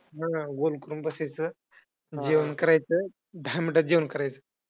हा गोल करून बसायचं. जेवण करायचं दहा minute जेवण करायचं.